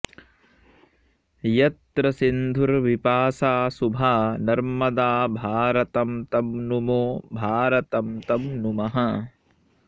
यत्र सिन्धुर्विपाशा शुभा नर्मदा भारतं तं नुमो भारतं तं नुमः